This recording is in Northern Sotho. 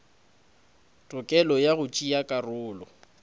tokelo ya go tšea karolo